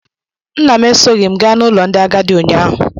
Nna m esoghị m gaa n'ụlọ ndị agadi ụnyaahụ.